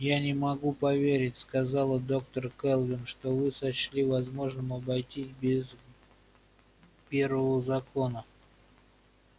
я не могу поверить сказала доктор кэлвин что вы сочли возможным обойтись без первого закона